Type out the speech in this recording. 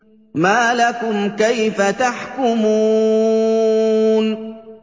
مَا لَكُمْ كَيْفَ تَحْكُمُونَ